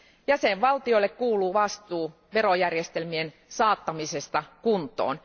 Jäsenvaltioille kuuluu vastuu verojärjestelmien saattamisesta kuntoon.